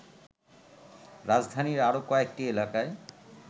রাজধানীর আরো কয়েকটি এলাকায়